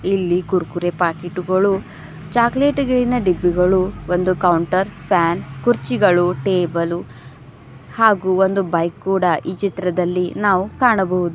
ಇಲ್ಲಿ ಕುರುಕುರೆ ಪಾಕೆಟ್ ಗಳು ಚಾಕ್ಲೆಟ್ ಗಿನ ಡಬ್ಬಿಗಳು ಒಂದು ಕೌಂಟರ್ ಫ್ಯಾನ್ ಕುರ್ಚಿಗಳು ಟೇಬಲು ಹಾಗೂ ಒಂದು ಬೈಕ್ ಕೂಡ ಈ ಚಿತ್ರದಲ್ಲಿ ನಾವು ಕಾಣಬಹುದು.